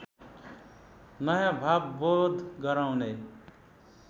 नयाँभाव बोध गराउने